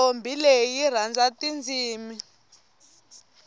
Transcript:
ntombi leyi yirhandza tatindzimi